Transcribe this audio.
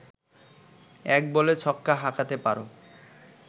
এক বলে ছক্কা হাঁকাতে পারো